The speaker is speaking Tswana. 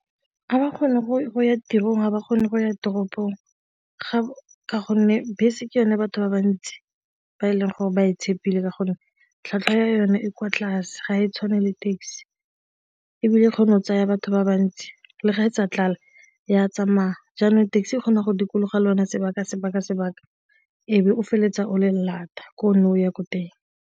Ga ba kgone go ya tirong, ga ba kgone go ya toropong ga ka gonne bese ke yone batho ba bantsi ba e leng gore ba e tshepile ka gonne tlhatlhwa ya yone e kwa tlase ga e tshwane le taxi ebile kgone o tsaya batho ba bantsi le ga etsa tlale ya tsamaya jaanong taxi e kgona go dikologa lona sebaka-sebaka-sebaka ebe o feleletsa o le lata ko o ne o ya ko teng.